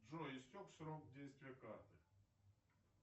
джой истек срок действия карты